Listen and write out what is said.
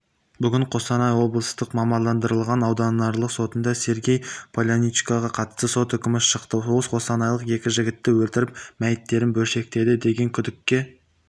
бүгін қостанай облыстық мамандандырылған ауданаралық сотында сергей поляничкоға қатысты сот үкімі шықты ол қостанайлық екі жігітті өлтіріп мәйіттерін бөлшектеді деген күдікке